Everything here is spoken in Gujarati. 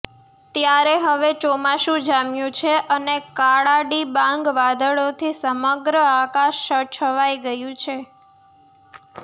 ત્યારે હવે ચોમાસું જામ્યું છે અને કાળાડિબાંગ વાદળોથી સમગ્ર આકાશ છવાઇ ગયું છે